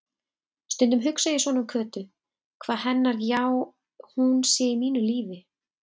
Stundum hugsa ég svona um Kötu, hvað hennar já-hún sé í mínu lífi.